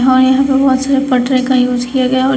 और यहां बहोत सारे पटरे का यूज किया गया और या--